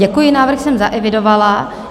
Děkuji, návrh jsem zaevidovala.